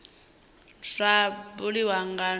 zwa buliwa nga ndaulo dza